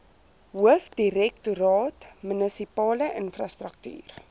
hoofdirektoraat munisipale infrastruktuur